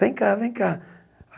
Vem cá, vem cá.